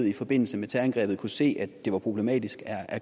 i forbindelse med terrorangrebet kunne se at det var problematisk er